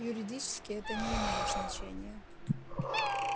юридически это не имеет значения